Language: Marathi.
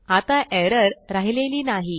आता एरर राहिलेली नाही